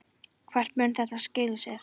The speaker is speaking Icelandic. Hvert mun þetta skila mér?